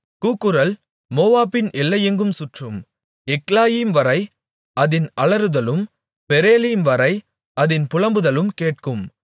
கூக்குரல் மோவாபின் எல்லையெங்கும் சுற்றும் எக்லாயிம்வரை அதின் அலறுதலும் பெரேலீம்வரை அதின் புலம்புதலும் கேட்கும்